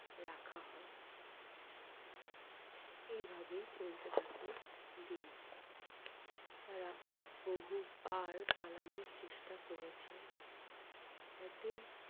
এইভাবে চলতে থাকে দিন। তারা বহুবার পালানোর চেষ্টা করেছে। একদিন